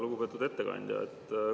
Lugupeetud ettekandja!